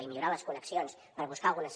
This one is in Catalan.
i millorar les connexions per buscar algunes